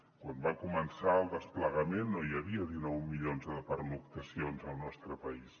quan va començar el desplegament no hi havia dinou milions de pernoctacions al nostre país